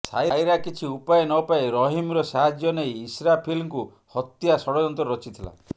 ସାଇରା କିଛି ଉପାୟ ନପାଇ ରହିମ୍ର ସାହଯ୍ୟ ନେଇ ଇସ୍ରାଫିଲ୍ଙ୍କୁ ହତ୍ୟା ଷଡ଼ଯନ୍ତ୍ର ରଚିଥିଲା